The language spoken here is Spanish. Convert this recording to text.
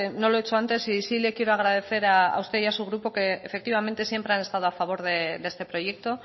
no lo he hecho antes y sí le quiero agradecer a usted y a su grupo que efectivamente siempre han estado a favor de este proyecto